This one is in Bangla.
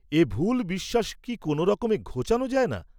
এ ভুল বিশ্বাস কি কোন রকমে ঘোচান যায় না?